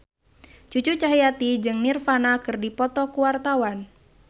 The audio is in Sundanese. Cucu Cahyati jeung Nirvana keur dipoto ku wartawan